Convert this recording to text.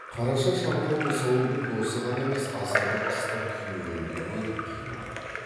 қарашаш абайды осы ауылдың досы ғана емес аса бір ыстық күйеуіндей көріп қимады